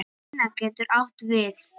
Inna getur átt við